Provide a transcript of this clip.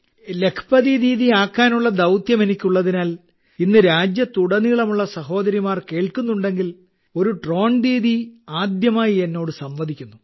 ലഖ്പതി ദീദിയാക്കാനുള്ള ദൌത്യം എനിക്കുള്ളതിനാൽ ഇന്ന് രാജ്യത്തുടനീളമുള്ള സഹോദരിമാർ കേൾക്കുന്നുണ്ടെങ്കിൽ ഒരു ഡ്രോൺ ദീദി ആദ്യമായി എന്നോട് സംവദിക്കുന്നു